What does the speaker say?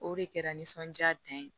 O de kɛra nisɔndiya dan ye